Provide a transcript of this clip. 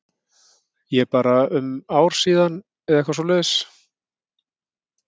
Ég bara um ár síðan eða eitthvað svoleiðis?